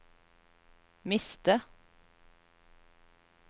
miste